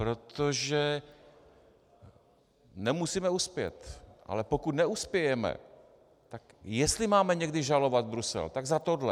Protože nemusíme uspět, ale pokud neuspějeme, tak jestli máme někdy žalovat Brusel, tak za tohle.